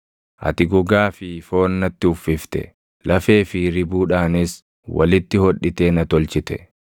Ati gogaa fi foon natti uffifte; lafee fi ribuudhaanis walitti hodhitee na tolchite.